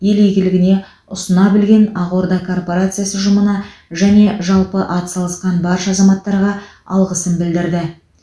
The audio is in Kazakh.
ел игілігіне ұсына білген ақорда корпорациясы ұжымына және жалпы атсалысқан барша азаматтарға алғысын білдірді